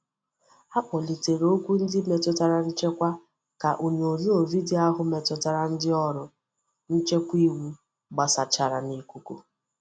A kpolitere okwu ndi metutara nchekwa ka onyonyo video ahu metutara ndi oru nchekwa iwu gbasachara nikuku.